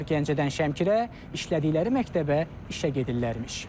Onlar Gəncədən Şəmkirə işlədikləri məktəbə işə gedirlərmiş.